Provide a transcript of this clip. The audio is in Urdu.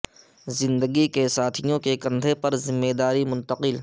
زندگی کے ساتھیوں کے کندھے پر ذمہ داری منتقل